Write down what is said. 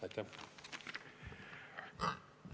Aitäh!